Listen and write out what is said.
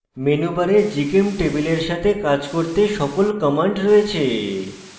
menubar gchemtable এর সাথে কাজ করতে সকল commands রয়েছে